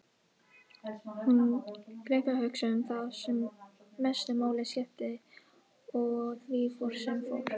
Hún gleymdi að hugsa um það sem mestu máli skipti og því fór sem fór.